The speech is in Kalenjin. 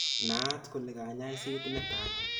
Naat kole kanyaiset netai